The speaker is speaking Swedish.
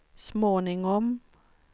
småningom